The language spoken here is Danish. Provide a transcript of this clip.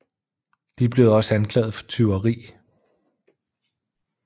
De blev også anklaget for tyveri